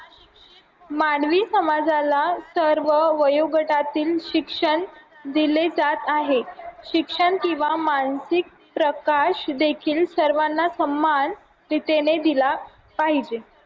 मानवी समाजाला सर्व वयोगटातील शिक्षण दिले जात आहे शिक्षण किंवा मानसिक प्रकाश देखील सर्वांना सन्मान दिला पाहिजे